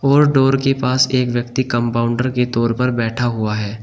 और डोर के पास एक व्यक्ति कंपाउंडर के तौर पर बैठा हुआ है।